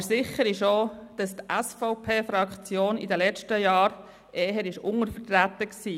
Aber sicher ist auch, dass die SVP-Fraktion in den letzten Jahren eher untervertreten war.